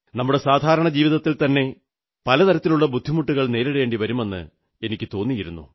നമ്മുടെ സാധാരണ ജീവിതത്തിൽത്തന്നെ പല തരത്തിലുള്ള ബുദ്ധിമുട്ടുകൾ നേരിടേണ്ടി വരുമെന്ന് എനിക്കു തോന്നിയിരുന്നു